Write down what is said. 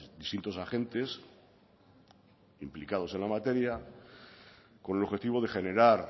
distintos agentes implicados en la materia con el objetivo de generar